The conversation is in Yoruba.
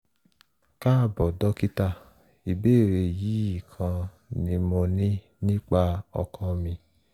káàbọ̀ dókítà ìbéèrè yìí kan ni mo ní nípa ọkọ mi